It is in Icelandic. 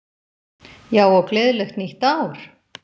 Já, og gleðilegt nýtt ár!